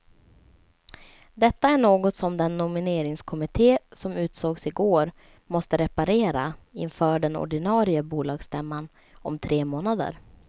Detta är något som den nomineringskommitté som utsågs i går måste reparera inför den ordinarie bolagsstämman om tre månader.